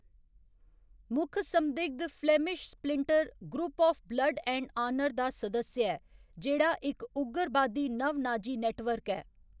मुक्ख संदिग्ध Flemish splinter group of blood and honour दा सदस्य ऐ, जेह्‌‌ड़ा इक उग्गरबादी नव नाजी नेटवर्क ऐ।